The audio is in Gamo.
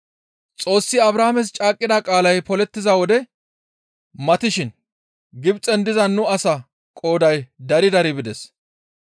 «Xoossi Abrahaames caaqqida qaalay polettiza wodey matishin Gibxen diza nu asaa qooday dari dari bides.